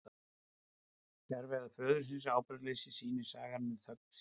Fjarveru föðurins og ábyrgðarleysi sýnir sagan með þögn sinni.